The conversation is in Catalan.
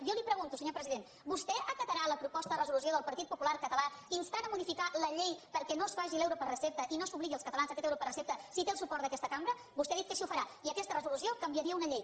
jo li pregunto senyor president vostè acatarà la proposta de resolució del partit popular català que insta a modificar la llei perquè no es faci l’euro per recepta i no s’obligui els catalans a aquest euro per recepta si té el suport d’aquesta cambra vostè ha dit que així ho farà i aquesta resolució canviaria una llei